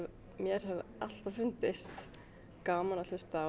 mér hefur alltaf fundist gaman að hlusta á